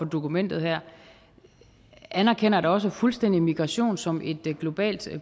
dokumentet her anerkender da også fuldstændig migration som et globalt